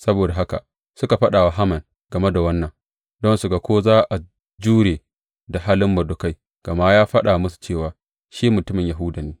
Saboda haka, suka faɗa wa Haman game da wannan don su ga ko za a jure da halin Mordekai, gama ya faɗa musu cewa shi mutumin Yahuda ne.